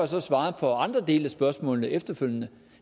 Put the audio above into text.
så svaret på andre dele af spørgsmålene efterfølgende